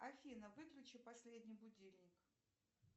афина выключи последний будильник